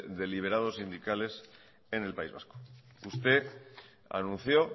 de liberados sindicales en el país vasco usted anunció